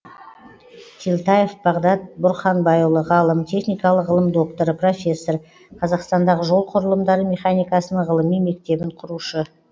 телтаев бағдат бұрханбайұлы ғалым техникалық ғылым докторы профессор қазақстандағы жол құрылымдары механикасының ғылыми мектебін құрушы